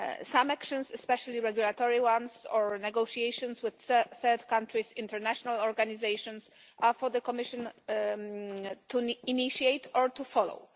Some actions, especially regulatory ones or negotiations with third countries' international organisations are for the Commission to initiate or to follow.